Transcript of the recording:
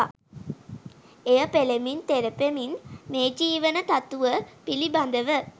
එය පෙළමින් තෙරපමින් මේ ජීවන තතුව පිළිබඳව